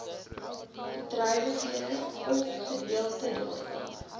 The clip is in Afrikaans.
bedrywighede ofgedeelte daarvan